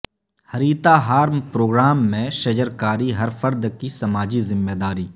Harithaharam program میںشجرکاری ہر فرد کی سماجی ذمہ داری